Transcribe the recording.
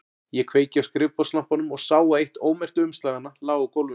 Ég kveikti á skrifborðslampanum og sá að eitt ómerktu umslaganna lá á gólfinu.